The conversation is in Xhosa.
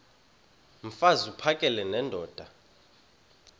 mfaz uphakele nendoda